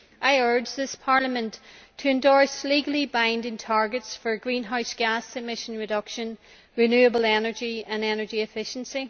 I urge this Parliament to endorse legally binding targets for greenhouse gas emission reduction, renewable energy and energy efficiency.